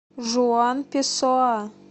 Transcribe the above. жуан песоа